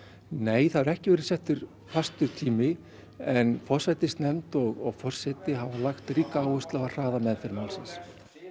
nei það hefur ekki verið settur fastur tími en forsætisnefnd og forseti hafa lagt ríka áherslu á að hraða meðferð málsins